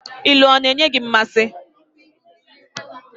Ilu ọ na-enyi gị mmasị?